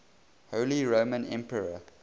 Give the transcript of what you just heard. holy roman emperor